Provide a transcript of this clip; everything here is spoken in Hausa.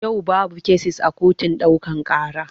Yau babu kesis a kotun ɗaukaka ƙara.